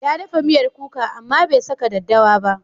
Ya dafa miyar kuka amma bai saka daddawa ba.